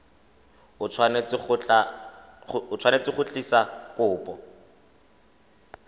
o tshwanetse go tlisa kopo